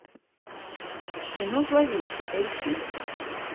кино зловещий поищи